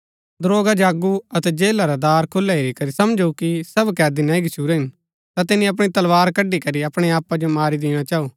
दरोगा जागु अतै जेला रै दार खुलै हेरी करी समझू कि सब कैदी नह्ही गच्छुरै हिन ता तिनी अपणी तलवार कड़ी करी अपणै आपा जो मारी दिणा चाऊ